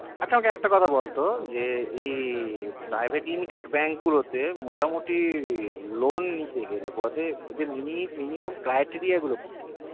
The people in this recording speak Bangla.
আচ্ছা আমাকে একটা কথা বাল তো এ private limited bank গুলো তা মোটামুটি lone নিতে গেলে minimum criteria গুলো কি কি